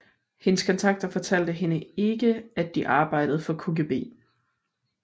Hendes kontakter fortalte hende ikke at de arbejdede for KGB